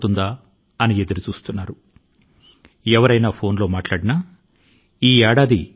అయితే ఈ రోజుల్లో నేను గమనిస్తున్నాను ఈ సంవత్సరం ఎప్పుడు గడుస్తుంది అనేది ప్రజలలో అంతులేని చర్చనీయాంశం గా ఉంది